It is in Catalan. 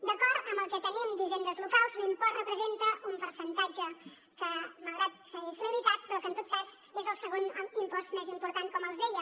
d’acord amb el que tenim d’hisendes locals l’impost representa un percentatge que malgrat que és limitat però que en tot cas és el segon impost més important com els deia